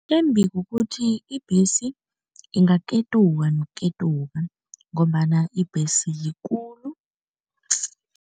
Embi kukuthi ibhesi ingaketuka nokuketuka ngombana ibhesi yikulu.